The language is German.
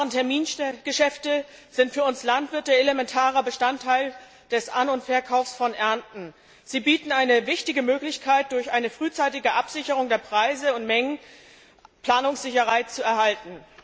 Warentermingeschäfte sind für uns Landwirte elementarer Bestandteil des An und Verkaufs von Ernten. Sie bieten eine wichtige Möglichkeit, durch eine frühzeitige Absicherung der Preise und Mengen Planungssicherheit zu erhalten.